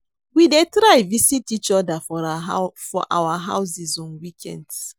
We dey try visit each other for our houses on weekends